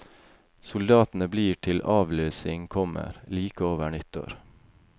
Soldatene blir til avløsning kommer, like over nyttår.